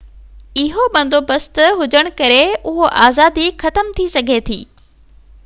اهو بندوبست هجڻ ڪري اهو آزادي ختم ٿي سگهي ٿي